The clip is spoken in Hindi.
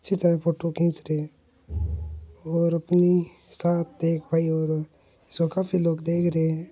अच्छी तरह फोटो खींच दे और अपनी साथ एक भाई और है सो काफी लोग देख रहे है।